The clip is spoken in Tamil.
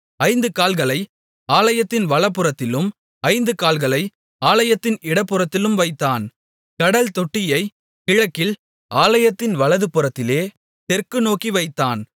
5 கால்களை ஆலயத்தின் வலதுபுறத்திலும் 5 கால்களை ஆலயத்தின் இடதுபுறத்திலும் வைத்தான் கடல்தொட்டியைக் கிழக்கில் ஆலயத்தின் வலதுபுறத்திலே தெற்குநோக்கி வைத்தான்